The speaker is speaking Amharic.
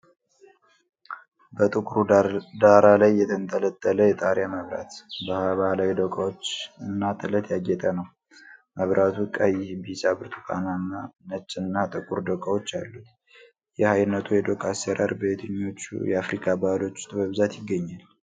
በጥቁር ዳራ ላይ፣ የተንጠለጠለ የጣሪያ መብራት፣ በባህላዊ ዶቃዎች እና ጥለት ያጌጠ ነው። መብራቱ ቀይ፣ ቢጫ፣ ብርቱካንማ፣ ነጭ እና ጥቁር ዶቃዎች አሉት፣ ይህ ዓይነቱ የዶቃ ሥራ በየትኞቹ የአፍሪካ ባህሎች ውስጥ በብዛት ይገኛል?